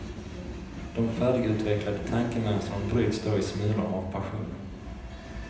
De färdigutvecklade tankemönstren bryts då i smulor av passionen.